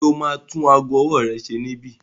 Ṣe o ma tún ago ọwọ́ rẹ ṣe níbí?